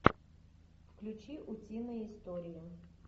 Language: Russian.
включи утиные истории